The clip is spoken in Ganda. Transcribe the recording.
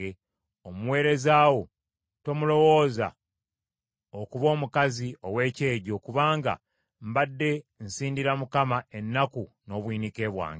Omuweereza wo tomulowooza okuba omukazi ow’ekyejjo, kubanga mbadde nsindira Mukama ennaku n’obuyinike bwange.”